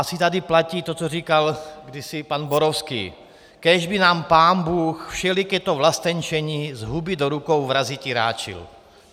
Asi tady platí to, co říkal kdysi pan Borovský: Kéž by nám pánbůh všeliké to vlastenčení z huby do rukou vraziti ráčil.